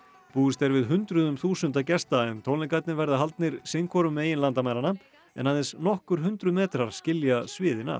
búist er við hundruðum þúsunda gesta en tónleikarnir verða haldnir sinn hvoru megin landamæranna en aðeins nokkur hundruð metrar skilja sviðin að